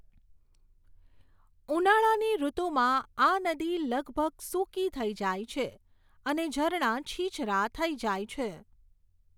ઉનાળાની ઋતુમાં આ નદી લગભગ સૂકી થઈ જાય છે અને ઝરણા છીછરા થઈ જાય છે.